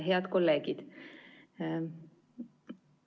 Head kolleegid!